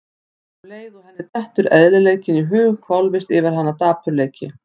Og um leið og henni dettur eðlileikinn í hug hvolfist yfir hana dapurleiki.